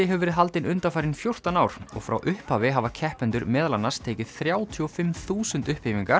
hefur verið haldin undanfarin fjórtán ár og frá upphafi hafa keppendur meðal annars tekið þrjátíu og fimm þúsund